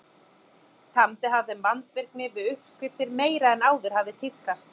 Tamdi hann þeim vandvirkni við uppskriftir meiri en áður hafði tíðkast.